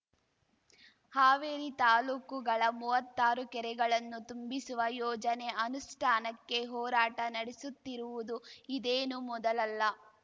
ಹಾವೇರಿ ತಾಲ್ಲೂಕುಗಳ ಮುವ್ವತ್ತಾರು ಕೆರೆಗಳನ್ನು ತುಂಬಿಸುವ ಯೋಜನೆ ಅನುಷ್ಟಾನಕ್ಕೆ ಹೋರಾಟ ನಡೆಸುತ್ತಿರುವುದು ಇದೇನು ಮೊದಲಲ್ಲ